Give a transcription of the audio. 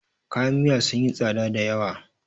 kayan Miya sun yi tsada da yawa